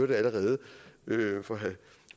det allerede fra herre